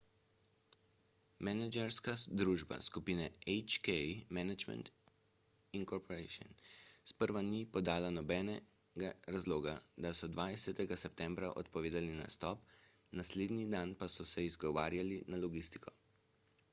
menedžerska družba skupine hk management inc sprva ni podala nobenega razloga ko so 20 septembra odpovedali nastop naslednji dan pa so se izgovarjali na logistiko